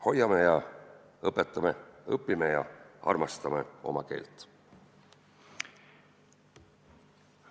Hoiame ja õpetame, õpime ja armastame oma keelt!